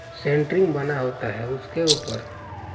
centering बना होता है उसके ऊपर--